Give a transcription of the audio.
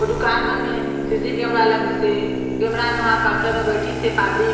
दुकान मन मे सी. सी केमेरा लगिस हे केमेरा मे उहा काउंटर मे बइठिस हे पाब्लिक --